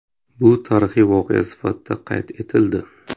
Bu tarixiy voqea sifatida qayd etildi.